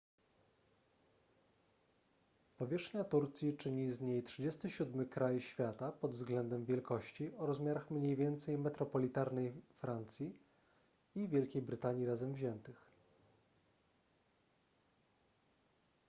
powierzchnia turcji czyni z niej 37 kraj świata pod względem wielkości o rozmiarach mniej więcej metropolitarnej francji i wielkiej brytanii razem wziętych